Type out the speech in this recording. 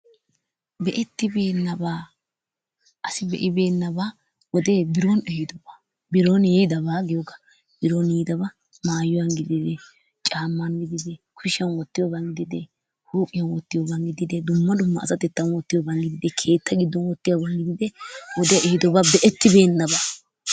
Be'ettibeennabaa asi be'ibeennabaa wodee biron ehidobaa biron yiidabaa giyogaa biron yiidabaa maayuwan gidin, caamman gidide kushiyan wottiyoban gidide, huuphiyan wottiyoban gididee, dumma dumma asatettan wottiyoban gidide, keetta giddon wottiyoban gidide, wodee ehidooga be'ettibeennabaa.